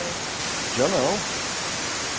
É. Tinha não.